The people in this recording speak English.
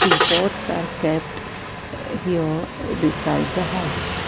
two pots are kept here a beside the house.